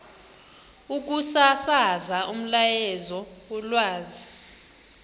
ukusasaza umyalezo wolwazi